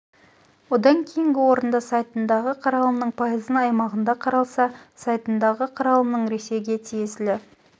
одан кейінгі орында сайтындағы қаралымның пайызын аймағында қаралса сайтындағы қаралымның ресейге тиесілі